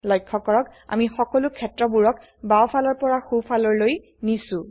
লক্ষ্য কৰক আমি সকলোক্ষেত্ৰবোৰক বাও ফালৰ পৰা সো ফালৰ লৈ নিছো